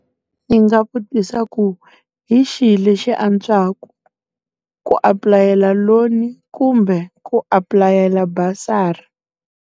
Ndzi nga vutisa ku, hi xihi lexi antswaku, ku apulayela loni kumbe ku apulayela basari?